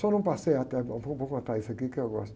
Só não passei até... Vou, vou contar isso aqui que eu gosto.